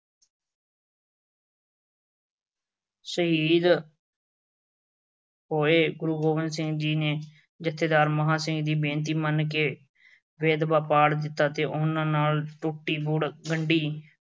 ਸ਼ਹੀਦ ਹੋਏ। ਗੁਰੂ ਗੋਬਿੰਦ ਸਿੰਘ ਜੀ ਨੇ ਜਥੇਦਾਰ ਮਹਾਂਸਿੰਘ ਦੀ ਬੇਨਤੀ ਮੰਨ ਕੇ ਬੇਦਾਵਾ ਪਾੜ ਦਿੱਤਾ ਤੇ ਉਨ੍ਹਾਂ ਨਾਲ ਗੁਰਦੁਆਰਾ ਟੁੱਟੀ ਗੰਢੀ